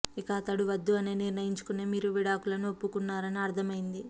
ఇక అతడు వద్దు అని నిర్ణయించుకునే మీరూ విడాకులకు ఒప్పుకొన్నారని అర్థమైంది